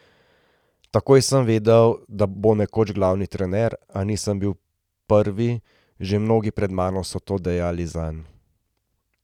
Takoj sem vedel, da bo nekoč glavni trener, a nisem bil prvi, že mnogi pred mano so to dejali zanj.